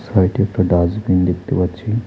সাইটে একটা ডাস্টবিন দেখতে পাচ্ছি।